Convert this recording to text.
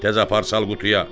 Təzə apar sal qutuya!